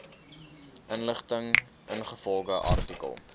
inligting ingevolge artikel